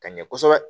Ka ɲɛ kosɛbɛ